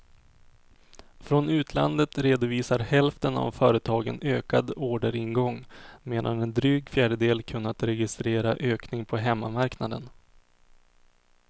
Från utlandet redovisar hälften av företagen ökad orderingång, medan en dryg fjärdedel kunnat registrera ökning på hemmamarknaden.